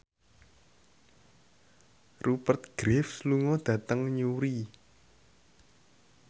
Rupert Graves lunga dhateng Newry